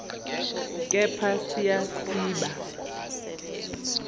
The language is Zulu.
kepha siya siba